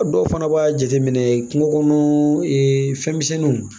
A dɔw fana b'a jateminɛ kungokɔnɔ fɛnmisɛnninw